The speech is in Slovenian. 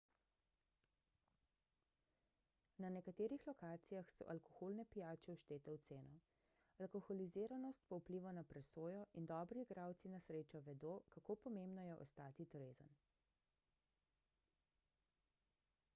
na nekaterih lokacijah so alkoholne pijače vštete v ceno alkoholiziranost pa vpliva na presojo in dobri igralci na srečo vedo kako pomembno je ostati trezen